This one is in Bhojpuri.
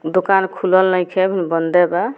दुकान खुलल नइखे बंदे बा।